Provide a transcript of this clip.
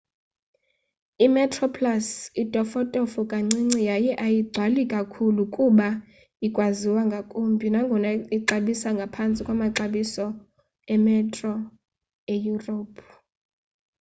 i-metroplus itofotofo kancinci yaye ayigcwali kakhulu kodwa ikwabiza ngakumbi nangona ixabisa ngaphantsi kwamaxabiso emetro eyurophu